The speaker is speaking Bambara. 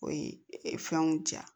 O ye fɛnw diya